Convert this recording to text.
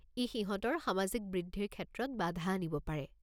ই সিহঁতৰ সামাজিক বৃদ্ধিৰ ক্ষেত্ৰত বাধা আনিব পাৰে।